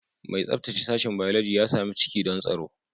Mai tsabtace sashen Biology ya sami ciki don tsaro